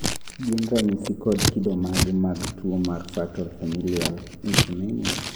gin ranyisi kod kido mage mag tuwo mar Fatal familial insomnia?